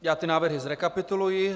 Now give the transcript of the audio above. Já tyto návrhy zrekapituluji: